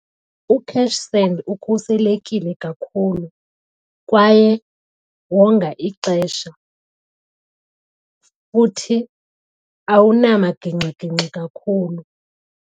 UCashSend ukhuselekile kakhulu kwaye wonga ixesha futhi awunamaginxiginxi kakhulu.